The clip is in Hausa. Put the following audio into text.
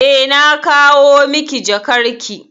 Eh, na kawo miki jakarki.